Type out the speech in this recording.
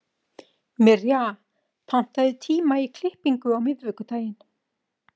Mirja, pantaðu tíma í klippingu á miðvikudaginn.